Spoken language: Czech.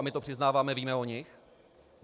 A my to přiznáváme, víme o nich.